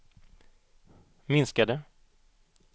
minskade